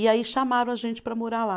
E aí chamaram a gente para morar lá.